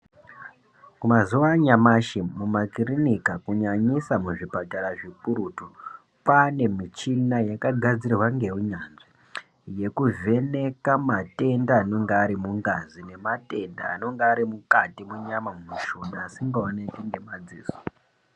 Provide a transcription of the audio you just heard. Mazuva anyamashi mumakirinika kunyanyisa muzvipatara zvikurutu, kwane michina yakagadzirwa ngeunyanzvi. Yekuvheneka matenda anonga ari mungazi nematenda enenge ari mukati munyama mumushuna asingaoneki ngemadziso.